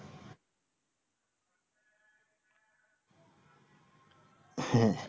হ্যাঁ